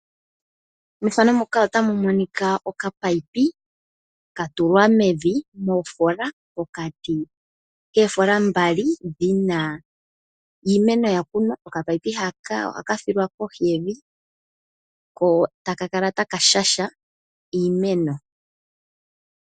okapayipi komeya ohaka tulwa mevi meefola, pokati keefola mbali dhina iimeno yakunwa, okapayipi haka ohaka thilwa koshiyevi, ko taka kala taka shasha iimeno nenge taka tekele iimeno.